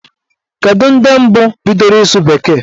Kedu ndị mbụ bidoro ịsụ bekee?